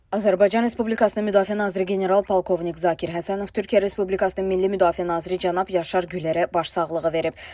Azərbaycan Respublikasının Müdafiə naziri general-polkovnik Zakir Həsənov Türkiyə Respublikasının Milli Müdafiə naziri cənab Yaşar Gülərə başsağlığı verib.